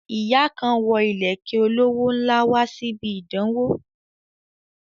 Ìyá kan wo ìlẹ̀kẹ̀ olówó ńlá wá síbi ìdánwó